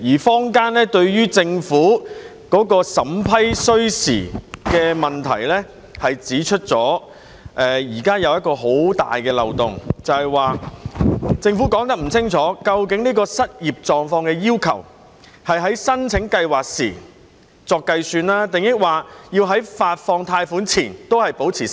坊間就政府審批需時的問題指出，現時存在很大的漏洞，便是政府沒有清楚說明，究竟對失業狀況的要求，是按申請計劃時計算，還是在發放貸款前仍然維持失業？